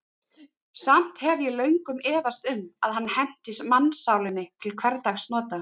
Samt hef ég löngum efast um, að hann henti mannssálinni til hversdagsnota.